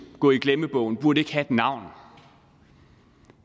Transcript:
gå i glemmebogen burde ikke have et navn